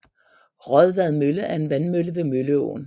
Raadvad Mølle er en vandmølle ved Mølleåen